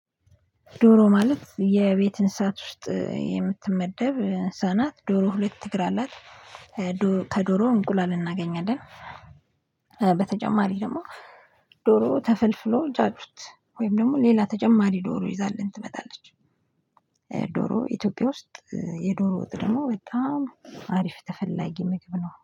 ዶሮ ማለት የቤት እንስሳት ውስጥ የምትመደብ እንስሳናት ዶሮ ሁለት እግር አላት ከዶሮ እንቁላል እናገኛለን። በተጨማሪ ደግሞ ዶሮ ተፍልፍሎ ጫጩት ወይም ደግሞ ሌላ ተጀማሪ ዶሮ ይዛልን ትመጣለች። ዶሮ ኢትዮጵያ ውስጥ የዶሮ ወጥ ደግሞ በጣም አሪፍ ተፈላጊ ምግብ ነው